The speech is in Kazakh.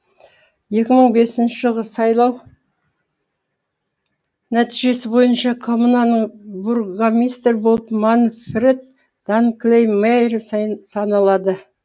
екі мың бесінші жылғы сайлау нәтижесі бойынша коммунаның бургомистрі болып манфред данкльмайер саналады